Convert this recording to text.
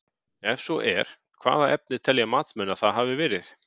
Ef svo er, hvaða efni telja matsmenn að það hafi verið?